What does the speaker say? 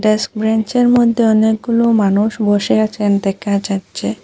Desk ব্রেঞ্চের মদ্যে অনেকগুলো মানুষ বসে আছেন দেখা যাচ্ছে।